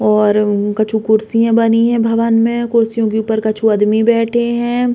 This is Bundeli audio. और कछु कुर्सिया बनी हैं भवन में। कुर्सियों के ऊपर कछु आदमी बैठे हैं।